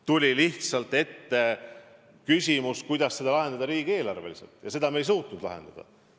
Tuli lihtsalt ette küsimus, kuidas see ülesanne lahendada riigieelarveliselt, ja seda me ei suutnud lahendada.